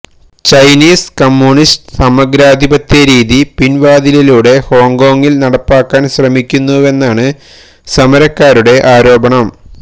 Chinese communist സമഗ്രാധിപത്യ രീതി പിന്വാതിലിലൂടെ ഹോങ്കോങ്ങില് നടപ്പാക്കാന് ശ്രമിക്കുന്നുവെന്നാണ് സമരക്കാരുടെ ആരോപണം